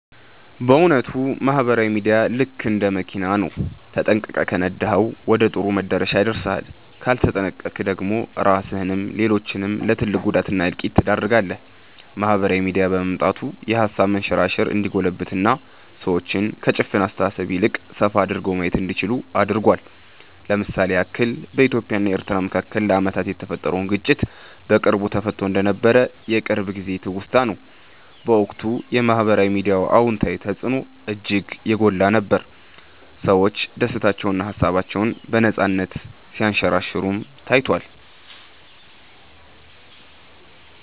በ እዉነቱ ማህበራዊ ሚዲያ ልክ እንደ መኪና ነው፤ ተጠንቅቀህ ከነዳኀው ወደ ጥሩ መዳረሻ ያደርስሃል ካልተጠነቅቀክ ደግሞ ራስህንም ሌሎችንም ለ ትልቅ ጉዳት እና እልቂት ትዳርጋለህ። ማህበራዊ ሚዲያ በመምጣቱ የሃሳብ መንሸራሸር እንዲጎለብትና ሰዎች ከ ጭፍን አስተሳሰብ ይልቅ ሰፋ አድርገው ማየት እንዲችሉ አድርጓል። ለ ምሳሌ ያክል በኢትዮጵያ እና ኤርትራ መካከል ለአመታት የተፈጠረውን ግጭት በቅርቡ ተፈትቶ እንደነበር የቅርብ ጊዜ ትውስታ ነው። በወቅቱ የ ማህበራዊ ሚዲያ አወንታዊ ተፅዕኖ እጅግ የጎላ ነበር፤ ሰዎች ደስታቸውንና ሃሳባቸውን በነፃነት ሲያንሸራሽሩም ታይቷል።